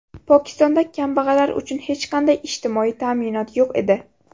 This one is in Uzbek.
Pokistonda kambag‘allar uchun hech qanday ijtimoiy ta’minot yo‘q edi.